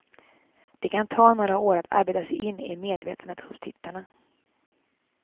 Det kan ta några år att arbeta sig in i medvetandet hos tittarna.